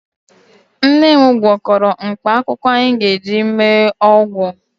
Nne m gwọkọrọ mkpaakwụkwọ anyị ga-eji mee ọgwụ